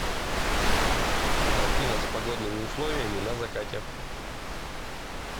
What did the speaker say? афина с погодными условиями на закате